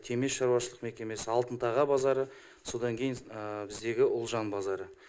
темеш шаруашылық мекемесі алтын таға базары содан кейін біздегі ұлжан базары